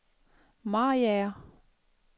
Mariager